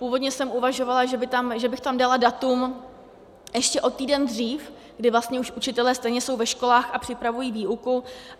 Původně jsem uvažovala, že bych tam dala datum ještě o týden dřív, kdy vlastně už učitelé stejně jsou ve školách a připravují výuku.